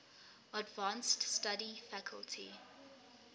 advanced study faculty